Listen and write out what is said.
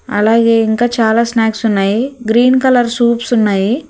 అలాగే ఇంకా చాలా స్నాక్స్ ఉన్నాయి గ్రీన్ కలర్ సూప్స్ ఉన్నాయి.